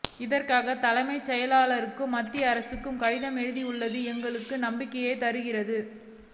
இதற்காக தலைமைச் செயலாளரும் மத்திய அரசுக்கு கடிதமும் எழுதி உள்ளது எங்களுக்கு நம்பிக்கையை தருகிறது